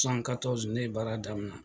ne baara daminɛ.